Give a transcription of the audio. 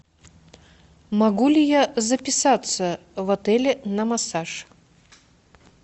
могу ли я записаться в отеле на массаж